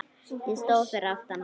Ég stóð fyrir aftan hana.